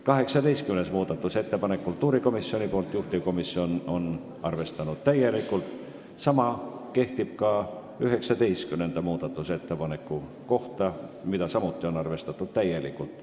18. muudatusettepanek on kultuurikomisjonilt, juhtivkomisjon on arvestanud täielikult, sama kehtib ka 19. muudatusettepaneku kohta, mida on arvestatud täielikult.